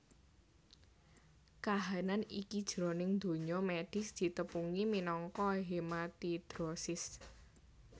Kahanan iki jroning donya médhis ditepungi minangka hematidrosis